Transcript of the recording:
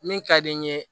Min ka di n ye